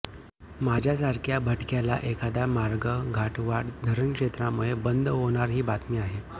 माझ्यासारख्या भटक्याला एखादा मार्ग घाटवाट धरणक्षेत्रामुळे बंद होणार ही बातमी आहे